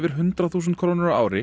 hundrað þúsund krónur á ári